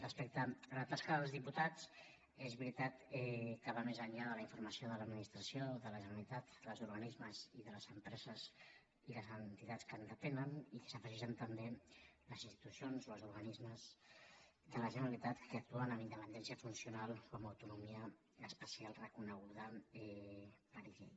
respecte a la tasca dels diputats és veritat que va més enllà de la informació de l’administració de la generalitat dels organismes i de les empreses i les entitats que en depenen i que s’hi afegeixen també les institucions o els organismes de la generalitat que actuen amb independència funcional o amb autonomia especial reconeguda per llei